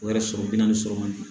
O yɛrɛ sɔrɔ bi naani sɔrɔ ma